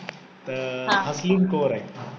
तर हसलीन कौर आहे.